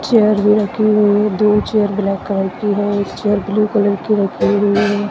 Chair भी रखी हुई है दो चेयर ब्लैक कलर की है एक चेयर ब्लू कलर की रखी हुई है।